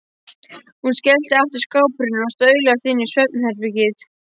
Hún skellti aftur skáphurðinni og staulaðist inn í svefn- herbergið.